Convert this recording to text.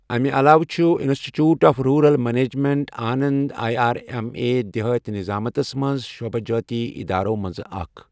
اَمہِ علاوٕ چھُ institute of rural management Anand I R M A دِیہٲتی نِظامتس منز شعبہٕ جٲتی ادارو منزٕ اكھ ۔